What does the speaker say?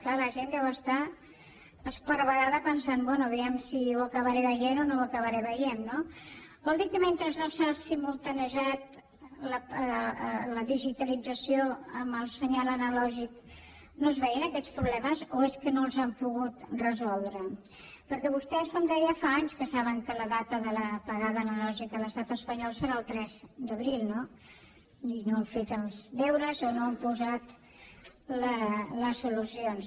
clar la gent deu estar esparverada pensant bé vejam si ho acabaré veient o no ho acabaré veient no vol dir que mentre s’ha simultaniejat la digitalització amb el senyal analògic no es veien aquests problemes o és que no els han pogut resoldre perquè vostès com deia fa anys que saben que la data de l’apagada analògica a l’estat espanyol serà el tres d’abril no i no han fet els deures o no han posat les solucions